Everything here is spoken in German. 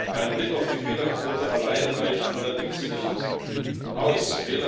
Ein Blick auf die Fehlerquote allein reicht allerdings nicht aus.